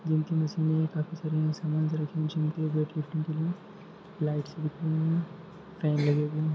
Gym की machine हैऔर काफी सारे मशीन है लाईटस दिख रही है फेन लगे हे।